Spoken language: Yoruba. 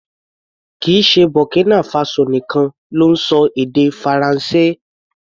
Kìí ṣe Burkina Faso nìkan ló ń ṣọ èdè Faransé.